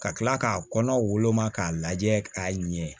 Ka kila k'a kɔnɔ woloma k'a lajɛ k'a ɲɛ